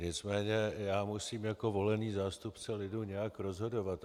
Nicméně já musím jako volený zástupce lidu nějak rozhodovat.